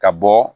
Ka bɔ